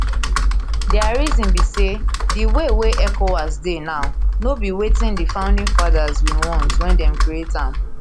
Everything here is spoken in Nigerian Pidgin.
dia reason be say di way wey ecowas dey now no be wetin di founding fathers bin want wen dem create am